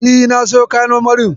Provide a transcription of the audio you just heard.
E, na siyo kayan marmarin.